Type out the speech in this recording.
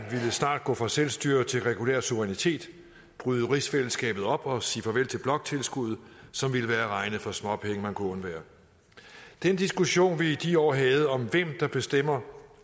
snart gå fra selvstyre til regulær suverænitet bryde rigsfællesskabet op og sige farvel til bloktilskuddet som ville være at regne for småpenge man kunne undvære den diskussion vi i de år havde om hvem der bestemmer